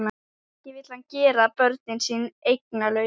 Ekki vill hann gera börnin sín eignalaus.